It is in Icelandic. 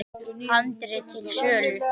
Handrit til sölu.